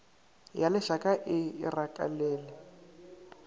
ya lešaka e e rakelele